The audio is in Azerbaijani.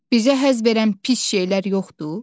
Bizə həzz verən pis şeylər yoxdur?